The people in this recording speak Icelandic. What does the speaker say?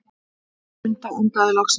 Munda andaði loksins.